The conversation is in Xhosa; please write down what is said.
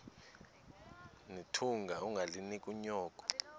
nethunga ungalinik unyoko